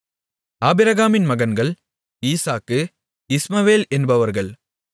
ஆபிரகாமின் மகன்கள் ஈசாக்கு இஸ்மவேல் என்பவர்கள்